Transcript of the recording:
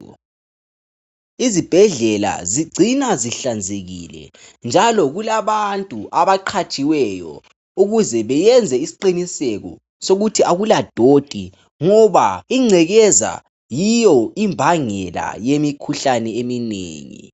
Izibhedlela zigcina sihlanzekile njalo kulabantu abaqhatshiweyo ukuze beyenze isiqiniseko sokuthi akula doti ngoba ingcekeza yiyo imbangela yemikhuhlane eminengi.